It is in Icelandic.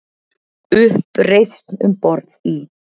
Uppreisn um borð í